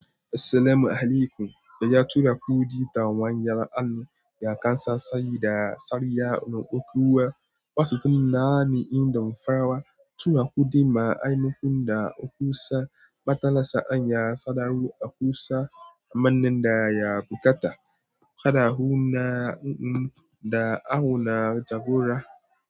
Assalamu alaykum. Ya tura kuɗi ta wayar an ya kansa sayi da sariya na ƙoƙewa. Wasu tunna ni inda farawa, tura kuɗi ma ainukun da aku sa matalasa an ya sadau aku sa amanin da ya buƙata. Kada huna in da ana jagora.